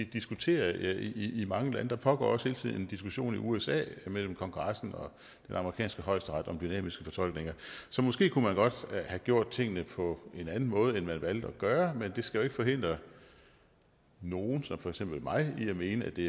diskuterer i i mange lande der pågår også hele tiden en diskussion i usa mellem kongressen og den amerikanske højesteret om dynamiske fortolkninger så måske kunne man godt have gjort tingene på en anden måde end man valgte at gøre men det skal jo ikke forhindre nogen som for eksempel mig i at mene at det